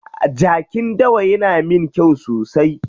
Jakin dawa yana min kyau sosai.